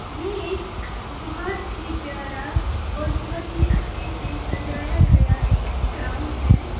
ये एक बहोत ही प्यारा और बहुत ही अच्छे से सजाया गया एक ग्राउंड है।